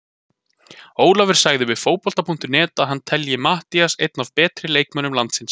Ólafur sagði við Fótbolta.net að hann telji Matthías einn af betri leikmönnum landsins.